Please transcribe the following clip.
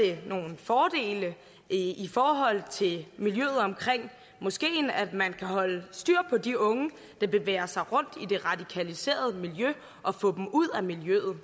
det nogle fordele i i forhold til miljøet omkring moskeen at man kan holde styr på de unge der bevæger sig rundt i det radikaliserede miljø og få dem ud af miljøet